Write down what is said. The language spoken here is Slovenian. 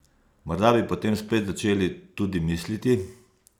Morda bi potem spet začeli tudi misliti?